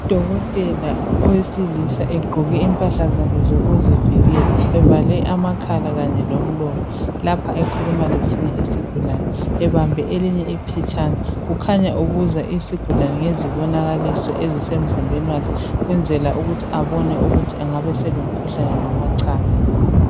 Udokotela owesilisa egqoke impahla zakhe zokuzivikela evale amakhala kanye lomlomo lapha ekhuluma lesinye isigulane ebambe elinye iphetshana. Kukhanya ubuza isigulane ngezibonakaliso ezisemzimbeni wakhe ukwenzela ukuthi abone ukuthi engabe selomkhuhlane noma cha